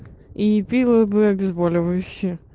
и пило бы обезболивающее